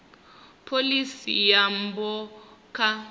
pholisi ya nyambo kha